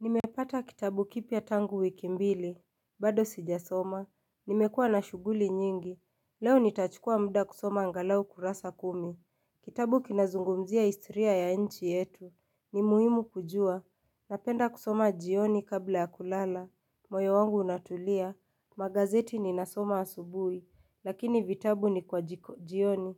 Nimepata kitabu kipya tangu wikimbili, bado sijasoma, nimekuwa na shughuli nyingi, leo nitachukua mda kusoma angalau kurasa kumi, kitabu kinazungumzia historia ya inchi yetu, ni muhimu kujua, napenda kusoma jioni kabla ya kulala, moyo wangu unatulia, magazeti ninasoma asubuhi, lakini vitabu ni kwa jioni,